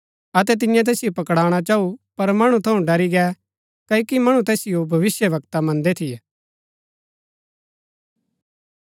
अतै तिन्यै तैसिओ पकडणा चाऊ पर मणु थऊँ ड़री गै क्ओकि मणु तैसिओ भविष्‍यवक्ता मन्दै थियै